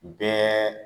Bɛɛ